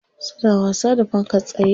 Suna wasa da fankar tsaye.